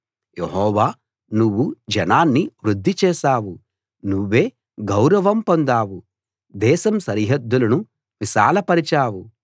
యెహోవా నువ్వు జనాన్ని వృద్ధి చేశావు నువ్వే గౌరవం పొందావు దేశం సరిహద్దులను విశాలపరచావు